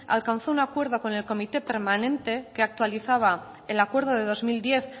alcanzó un acuerdo con el comité permanente que actualizaba el acuerdo de dos mil diez